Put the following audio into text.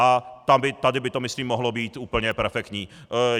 A tady by to myslím mohlo být úplně perfektní.